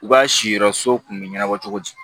U ka siyɔrɔ so kun bɛ ɲɛnabɔ cogo di